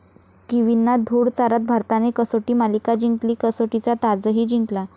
किवींना धूळ चारत भारताने कसोटी मालिका जिंकली, कसोटीचा 'ताज'ही जिंकला